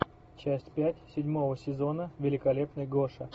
часть пять седьмого сезона великолепный гоша